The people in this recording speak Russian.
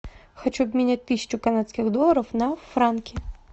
хочу обменять тысячу канадских долларов на франки